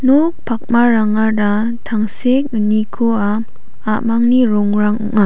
nok pakmarangara tangsek unikoa a·mangni rongrang ong·a.